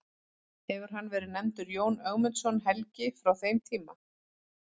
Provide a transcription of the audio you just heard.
Hefur hann verið nefndur Jón Ögmundsson helgi frá þeim tíma.